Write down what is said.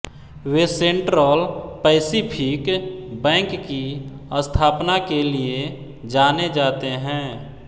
वे Central Pacific Bank की स्थापना के लिए जाने जाते हैँ